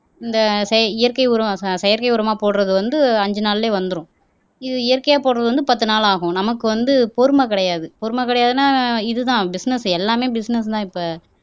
இந்த செ இயற்கை உரம் ச செயற்கை உரமா போடுறது வந்து அஞ்சு நாள்லயே வந்துரும் இது இயற்கையா போடுறது வந்து பத்து நாள் ஆகும் நமக்கு வந்து பொறுமை கிடையாது பொறுமை கிடையாதுன்னா இதுதான் பிசினஸ் எல்லாமே பிசினஸ் தான் இப்ப